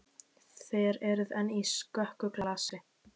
Þér eruð enn í skökku glasi.